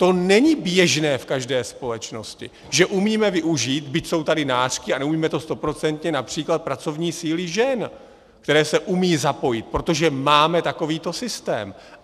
To není běžné v každé společnosti, že umíme využít, byť jsou tady nářky, a neumíme to stoprocentně, například pracovní síly žen, které se umí zapojit, protože máme takovýto systém.